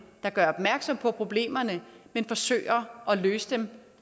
der gør opmærksom på problemerne men forsøger at løse dem